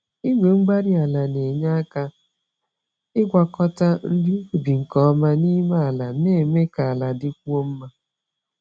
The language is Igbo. Igwe-mgbárí-ala na-enye aka ịgwakọta nri ubi nke ọma n'ime ala, na-eme ka ala dịkwuo mma.